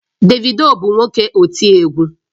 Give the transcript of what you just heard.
Davido bu nwoke oti egwu